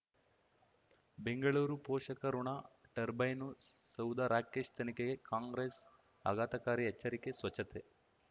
ಬೆಂಗಳೂರು ಪೋಷಕಋಣ ಟರ್ಬೈನು ಸೌಧ ರಾಕೇಶ್ ತನಿಖೆಗೆ ಕಾಂಗ್ರೆಸ್ ಆಘಾತಕಾರಿ ಎಚ್ಚರಿಕೆ ಸ್ವಚ್ಛತೆ